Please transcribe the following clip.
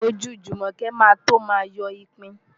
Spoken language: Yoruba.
Ojú Jùmọ̀kẹ́ máa tó máa yọ ipin.